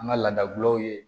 An ka laada gulɔw ye